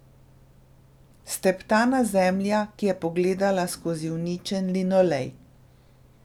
Steptana zemlja, ki je pogledala skozi uničen linolej.